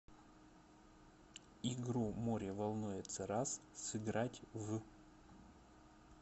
игру море волнуется раз сыграть в